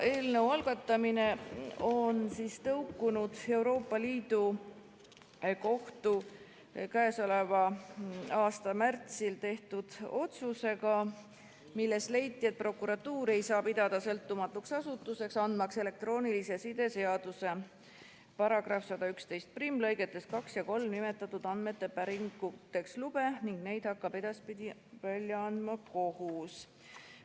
Eelnõu algatamine on tõukunud Euroopa Liidu Kohtu k.a märtsis tehtud otsusest, milles leiti, et prokuratuuri ei saa pidada sõltumatuks asutuseks, andmaks elektroonilise side seaduse § 1111 lõigetes 2 ja 3 nimetatud andmete päringuks lube, ning neid hakkab edaspidi välja andma kohus.